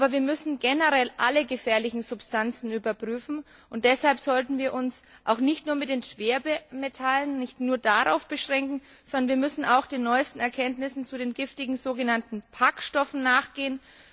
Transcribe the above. Wir müssen jedoch generell alle gefährlichen Substanzen überprüfen, und deshalb sollten wir uns auch nicht nur auf die Schwermetalle beschränken, sondern wir müssen den neuesten Erkenntnissen zu den giftigen sogenannten PAK Stoffen nachgehen.